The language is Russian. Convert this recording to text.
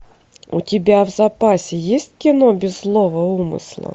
у тебя в запасе есть кино без злого умысла